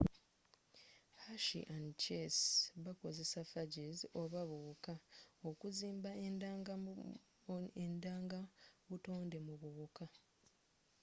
hershey and chase bakozesanga phages oba buwuka okuzimba endanga buttonde mu buwuka